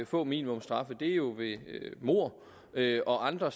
få minimumsstraffe er jo ved mord og andre